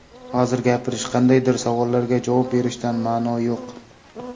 Hozir gapirish, qandaydir savollarga javob berishdan ma’no yo‘q.